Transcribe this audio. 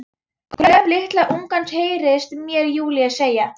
Gröf litla ungans, heyrist mér Júlía segja.